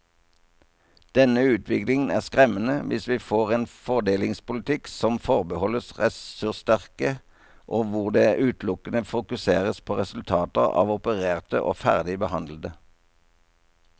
Denne utviklingen er skremmende hvis vi får en fordelingspolitikk som forbeholdes ressurssterke og hvor det utelukkende fokuseres på resultater av opererte og ferdig behandlede.